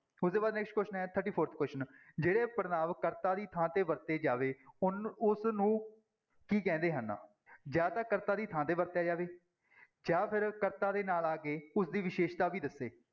ਉਸਦੇ ਬਾਅਦ next question ਹੈ thirty-fourth question ਜਿਹੜੇ ਪੜ੍ਹਨਾਂਵ ਕਰਤਾ ਦੀ ਥਾਂ ਤੇ ਵਰਤੇ ਜਾਵੇ, ਉਹਨੂੰ ਉਸ ਨੂੰ ਕੀ ਕਹਿੰਦੇ ਹਨ, ਜਾਂ ਤਾਂ ਕਰਤਾ ਦੀ ਥਾਂ ਤੇ ਵਰਤਿਆ ਜਾਵੇ ਜਾਂਂ ਫਿਰ ਕਰਤਾ ਦੇ ਨਾਲ ਆ ਕੇ ਉਸਦੀ ਵਿਸ਼ੇਸ਼ਤਾ ਵੀ ਦੱਸੇ।